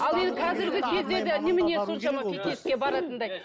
ал енді қазіргі кездегі немене соншама фитнеске баратындай